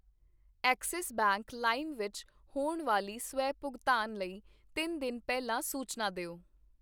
Axis Bank ਲਾਇਮ ਵਿੱਚ ਹੋਣ ਵਾਲੀ ਸਵੈ ਭੁਗਤਾਨ ਲਈ ਤਿੰਨ ਦਿਨ ਪਹਿਲਾਂ ਸੂਚਨਾ ਦਿਓ